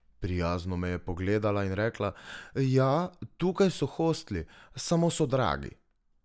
Prijazno me je pogledala in rekla: "Ja, tukaj so hostli, samo so dragi.